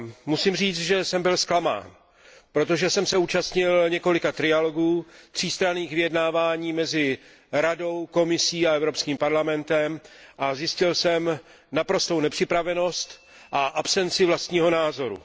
Musím říct, že jsem byl zklamán, protože jsem se účastnil několika trialogů, třístranných vyjednávání mezi Radou, Komisí a Evropským parlamentem, a zjistil jsem naprostou nepřipravenost a absenci vlastního názoru.